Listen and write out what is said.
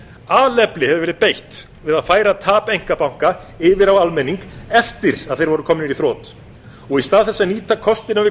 alefli hefur verið beitt við að færa tap einkabanka yfir á almenning eftir að þeir voru komnir í þrot og í stað þess að nýta kostina